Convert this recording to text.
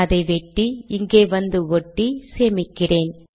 அதை வெட்டி இங்கே வந்து ஒட்டி சேமிக்கிறேன்